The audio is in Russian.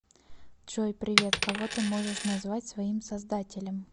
джой привет кого ты можешь назвать своим создателем